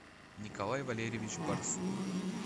николай валерьевич барсук